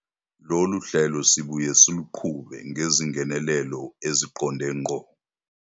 Lolu hlelo sibuye siluqhube ngezingenelelo eziqonde ngqo.